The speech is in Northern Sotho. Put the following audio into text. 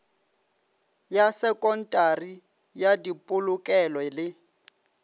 ya sekontari ya dipolokelo le